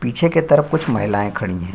पीछे के तरफ़ कुछ महिलायें खड़ी हैं।